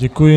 Děkuji.